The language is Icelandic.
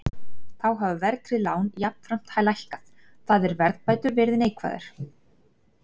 Þá hafa verðtryggð lán jafnframt lækkað, það er verðbætur verið neikvæðar.